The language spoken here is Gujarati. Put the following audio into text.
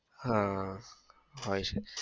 હા હોય છે